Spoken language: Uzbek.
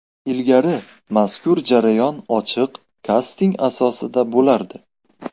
Ilgari mazkur jarayon ochiq kasting asosida bo‘lardi.